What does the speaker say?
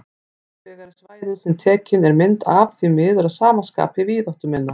Hins vegar er svæðið sem tekin er mynd af því miður að sama skapi víðáttuminna.